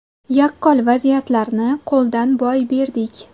Yaqqol vaziyatlarni qo‘ldan boy berdik.